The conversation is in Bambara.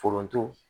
Foronto